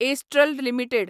astral limited